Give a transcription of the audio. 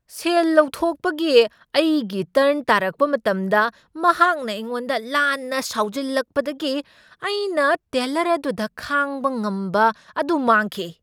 ꯁꯦꯜ ꯂꯧꯊꯣꯛꯄꯒꯤ ꯑꯩꯒꯤ ꯇꯔꯟ ꯇꯥꯔꯛꯄ ꯃꯇꯝꯗ ꯃꯍꯥꯛꯅ ꯑꯩꯉꯣꯟꯗ ꯂꯥꯟꯅ ꯁꯥꯎꯖꯤꯜꯂꯛꯄꯗꯒꯤ ꯑꯩꯅ ꯇꯦꯜꯂꯔ ꯑꯗꯨꯗ ꯈꯥꯡꯕ ꯉꯝꯕ ꯑꯗꯨ ꯃꯥꯡꯈꯤ꯫